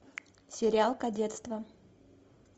сериал кадетство